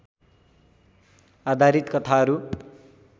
आधारित कथाहरू